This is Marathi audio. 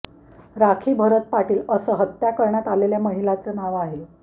राखी भरत पाटील असं हत्या करण्यात आलेल्या महिलेचं नाव आहे